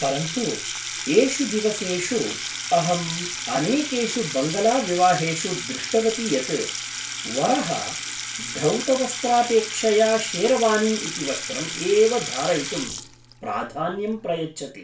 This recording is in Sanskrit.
परन्तु, एषु दिवसेषु, अहम् अनेकेषु बङ्गलाविवाहेषु दृष्टवती यत् वरः धौतवस्त्रापेक्षया शेरवानी इति वस्त्रम् एव धारयितुं प्राधान्यं प्रयच्छति।